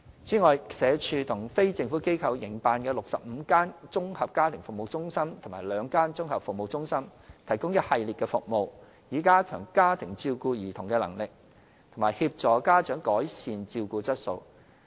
此外，社署和非政府機構營辦的65間綜合家庭服務中心及兩間綜合服務中心，提供一系列的服務，以加強家庭照顧兒童的能力，並協助家長改善照顧質素。